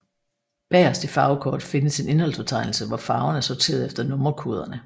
Bagerst i farvekort findes en indholdsfortegnelse hvor farverne er sorteret efter nummerkoderne